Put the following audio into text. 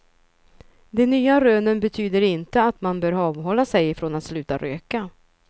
De nya rönen betyder inte att man bör avhålla sig från att sluta röka.